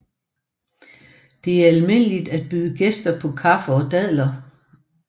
Det er almindeligt at byde gæster på kaffe og dadler